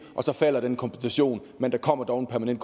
og så falder kompensationen men der kommer dog en